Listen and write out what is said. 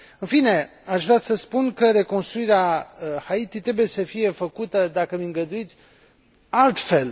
În fine, aș vrea să spun că reconstruirea Haiti trebuie să fie făcută, dacă îmi îngăduiți, altfel.